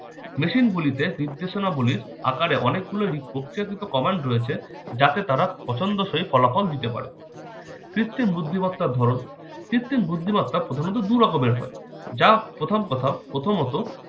machine গুলিতে নির্দেশনা গুলির আকারে অনেকগুলোরই প্রক্রিয়াকৃত command রয়েছে যাতে তারা পছন্দসই ফলাফল দিতে পারে। কৃত্রিম বুদ্ধিমত্তার ধরন- কৃত্রিম বুদ্ধিমত্তা প্রধারণত দু রকমের হয়। যা প্রথম কথা, প্রথমত-